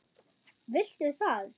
Viltu það?